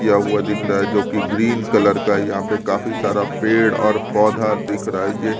किया हुआ दिख रहा है जो कि ग्रीन कलर का यहाँ पे काफी सारा पेड़ और पौधा दिख रहा है ये--